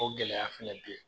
O gɛlɛya fɛnɛ bɛ yen